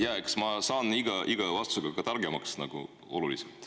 Jaa, eks ma saan iga vastusega targemaks ka nagu oluliselt.